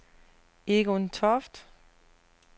Egon Toft